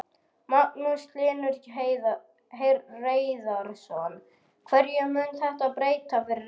Magnús Hlynur Hreiðarsson: Hverju mun þetta breyta fyrir ykkur?